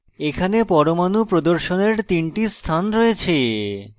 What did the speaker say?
এখানে পরমাণু প্রদর্শনের 3 টি স্থান রয়েছে